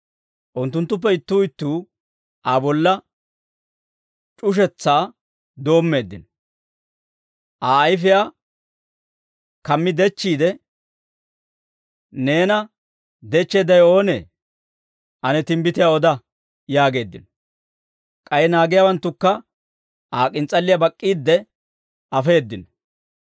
Unttunttuppe ittuu ittuu Aa bolla c'ushetsaa doommeeddino; Aa ayfiyaa kammi dechchiide, «Neena dechcheeddawe oonee? Ane timbbitiyaa oda!» yaageeddino; k'ay naagiyaawanttukka Aa k'ins's'alliyaa bak'k'iidde afeeddino.